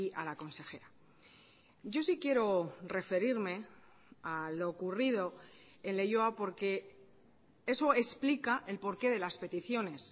a la consejera yo sí quiero referirme a lo ocurrido en leioa porque eso explica el por qué de las peticiones